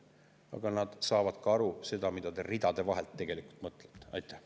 Aga nad saavad aru ka sellest, ridade vahelt, mida te tegelikult mõtlete.